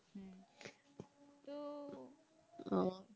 ও